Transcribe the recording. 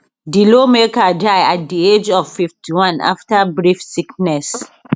di lawmaker die at di age of 51 afta brief sickness